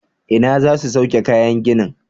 Ina za su sauke kayan ginin?